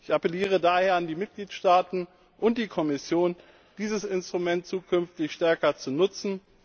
Ich appelliere daher an die Mitgliedstaaten und die Kommission, dieses Instrument zukünftig stärker zu nutzen.